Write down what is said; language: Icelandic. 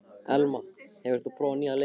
Elma, hefur þú prófað nýja leikinn?